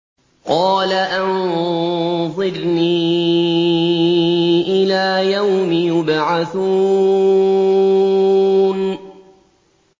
قَالَ أَنظِرْنِي إِلَىٰ يَوْمِ يُبْعَثُونَ